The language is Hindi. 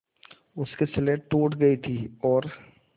उसकी स्लेट टूट गई थी और